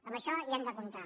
amb això hi hem de comptar